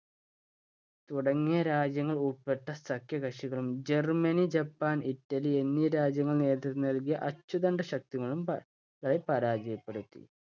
തുടങ്ങിയ രാജ്യങ്ങൾ ഉൾപ്പെട്ട സഖ്യകക്ഷികളും ജർമ്മനി, ജപ്പാൻ, ഇറ്റലി എന്നീ രാജ്യങ്ങൾ നേതൃത്വം നൽകിയ അച്ചുതണ്ടുശക്തികളും പപപരാജയപ്പെടുത്തി.